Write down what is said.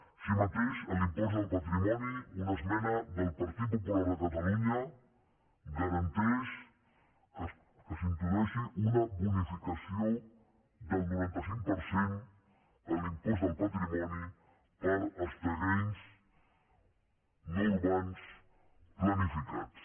així mateix en l’impost del patrimoni una esmena del partit popular de catalunya garanteix que s’introdueixi una bonificació del noranta cinc per cent en l’impost del patrimoni per als terrenys no urbans planificats